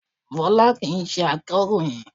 Fọlá kìí ṣe akọ̀ròyìn